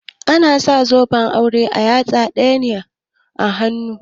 Ana sa zoben aure a yatsa na hudu daga babbar yatsa